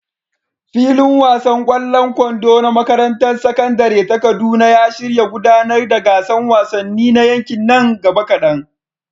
Filin wasan ƙwallon kwando na makarantar sakandare ta Kaduna ya shirya gudanar da gasar wasanni na yankin nan gaba kadan.